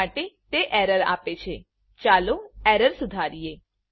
એટલા માટે તે એરર આપે છેચાલો એરર સુધારીએ